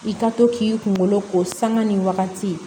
I ka to k'i kunkolo ko sanga nin wagati